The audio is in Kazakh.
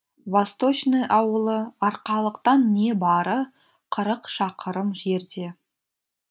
восточный ауылы арқалықтан небары қырық шақырым жерде